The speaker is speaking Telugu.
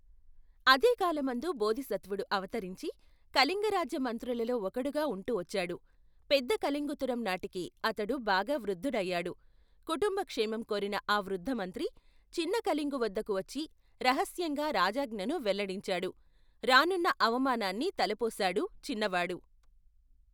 అదేకాలమందు బోధిసత్వుడు అవతరించి కళింగరాజ్య మంత్రులలో ఒకడుగా ఉంటూవచ్చాడు పెద్దకళింగుతరం నాటికి అతడు బాగా వృద్దుడయ్యాడు కుటుంబ క్షేమం కోరిన ఆ వృద్దమంత్రి చిన్నకళింగు వద్దకు వచ్చి రహస్యంగా రాజాజ్ఞను వెల్లడించాడు రానున్న అవమానాన్ని తలపోశాడు, చిన్నవాడు.